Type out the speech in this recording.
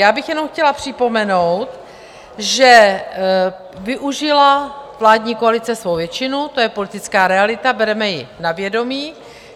Já bych jenom chtěla připomenout, že využila vládní koalice svou většinu, to je politická realita, bereme ji na vědomí.